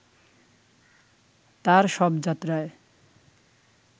তার শবযাত্রায়